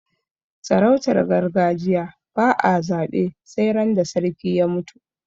sarautar gargajiya ba a zabe sai ran da sarki ya mutu